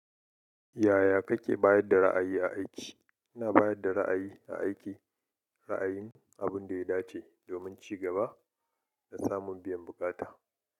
Yaya kake bayar da ra'ayi a aiki? Ina bayar da ra'ayi a aiki, ra'ayin abin da ya dace domin ci gaba da samun biyan buƙata.